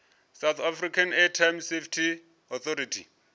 south african maritime safety authority